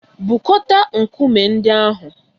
Bukọta nkume ndị ahụ!